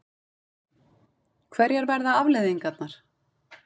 Hverjar verða afleiðingarnar?